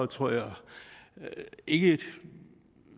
tror jeg ikke